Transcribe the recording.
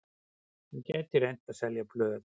Hann gæti reynt að selja blöð.